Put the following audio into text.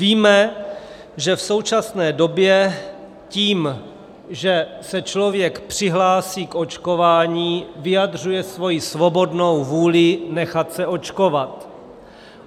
Víme, že v současné době tím, že se člověk přihlásí k očkování, vyjadřuje svoji svobodnou vůli nechat se očkovat.